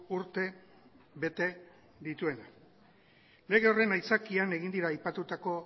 urte bete dituena lege horren aitzakian egin dira aipatutako